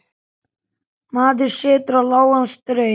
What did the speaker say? Maður setur á lágan straum.